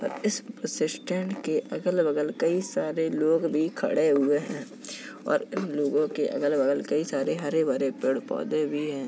इस bus stand के अगल बगल कई सारे लोग भी खड़े हुए हैं और उन लोगों के अगल बगल कई सारे हरे भरे पेड़ पौधे भी हैं।